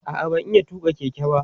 a'a ban iya tuƙa Keke ba